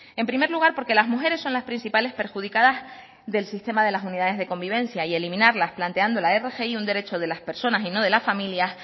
en primer lugar porque las mujeres son las principales perjudicadas del sistema de las unidades de convivencia y eliminarlas planteando la rgi un derecho de las personas y no de la familia